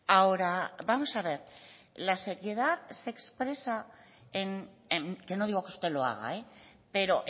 ahora vamos a ver la seriedad se expresa en que no digo que usted lo haga pero